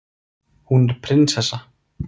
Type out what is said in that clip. Hún er prinsessa.